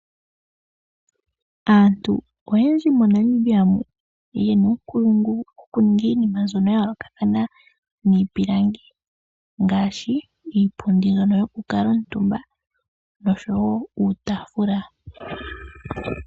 Aantu oyendji moNamibia muka oyena uunkulungu wo ku ninga iinima mbyono ya yoolokathana miipilangi, ngaashi iipundi yoku kuutumba oshowo iitaafula.